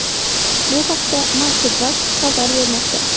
Bu haqda MarketWatch xabar bermoqda .